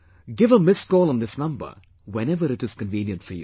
Give a missed call on this number whenever it is convenient for you